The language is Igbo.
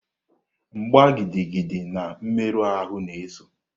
Mgbá gidigidi na mmerụ ahụ na-eso.